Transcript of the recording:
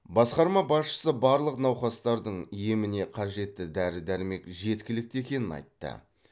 басқарма басшысы барлық науқастардың еміне қажетті дәрі дәрмек жеткілікті екенін айтты